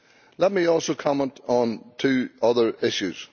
Let me also comment on two other issues.